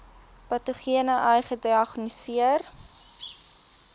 patogene ai gediagnoseer